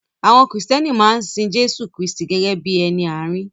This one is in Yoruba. Àwọn Kristẹni maa n sin Jésù Kristi gẹ́gẹ́ bí ẹni àárín.